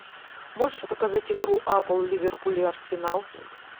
можешь показать игру апл ливерпуль и арсенал